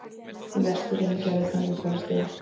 Í Vesturheimi gerðist hann útfararstjóri.